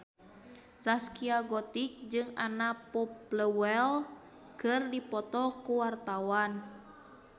Zaskia Gotik jeung Anna Popplewell keur dipoto ku wartawan